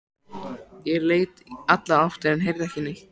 Ég leit í allar áttir en heyrði ekki neitt.